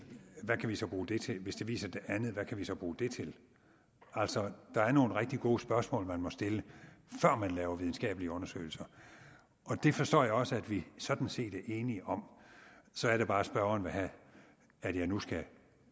hvad kan vi så bruge det til og hvis det viser det andet hvad kan vi så bruge det til altså der er nogle rigtig gode spørgsmål man må stille før man laver videnskabelige undersøgelser det forstår jeg også at vi sådan set er enige om så er det bare at spørgeren vil have at jeg nu skal